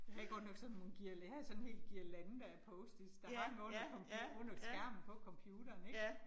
Jeg havde godt nok sådan nogle, jeg havde sådan en hel guirlande af post-its, der hang under under skærmen på computeren ik